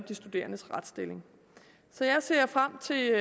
de studerendes retsstilling så jeg ser frem til